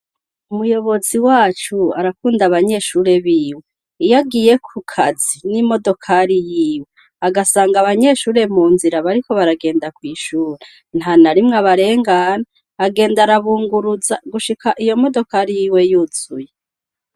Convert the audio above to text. Umuyobozi wacu arakunda abanyeshure biwe. Iyo agiye ku kazi n'imodokari yiwe agasanga abanyeshure mu nzira bariko baragenda kw'ishure ntanarimwe abarengana. Agenda arabunguruza gushika iyo modokari yiwe yuzuye.